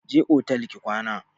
Je otel ki kwana!